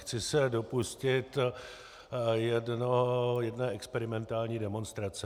Chci se dopustit jedné experimentální demonstrace.